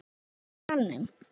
Var þá hlegið í salnum.